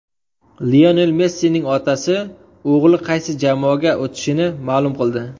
Lionel Messining otasi o‘g‘li qaysi jamoaga o‘tishini ma’lum qildi.